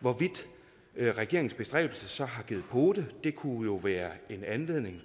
hvorvidt regeringens bestræbelser har givet pote det kunne jo være en anledning